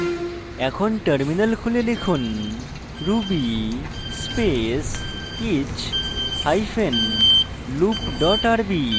এখন terminal খুলে লিখুন ruby space each hyphen loop dot rb